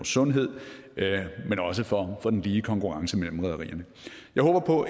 sundhed men også for for den lige konkurrence mellem rederierne jeg håber på